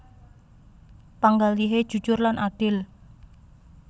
Panggalihé jujur lan adil